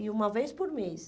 E uma vez por mês.